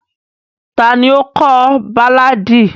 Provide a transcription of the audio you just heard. Tani o kọ baláàdi?